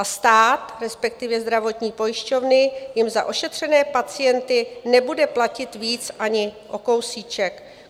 A stát, respektive zdravotní pojišťovny, jim za ošetřené pacienty nebude platit víc ani o kousíček.